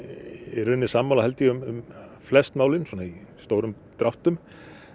í raun sammála um flest málin í stórum dráttum